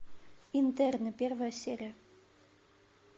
интерны первая серия